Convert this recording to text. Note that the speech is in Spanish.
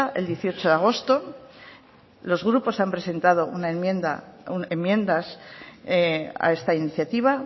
el dieciocho de agosto los grupos han presentado enmiendas a esta iniciativa